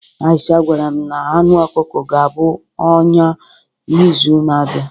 Aisha gwara m na anụ ọkụkọ ga-abụ ọnya n'izu na-abịa